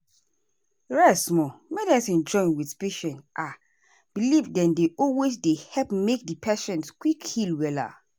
rest small.medicine join wetin patient ahhh believe dem dey always dey help make di patient quick heal wella.